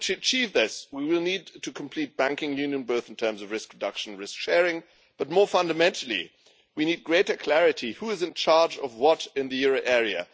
In order to achieve this, we will need to complete banking union, both in terms of risk reduction and risk sharing, but more fundamentally we need greater clarity about who is in charge of what in the euro area.